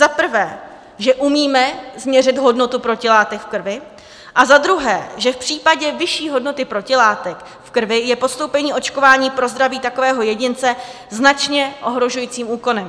Za prvé, že umíme změřit hodnotu protilátek v krvi, a za druhé, že v případě vyšší hodnoty protilátek v krvi je podstoupení očkování pro zdraví takového jedince značně ohrožujícím úkonem.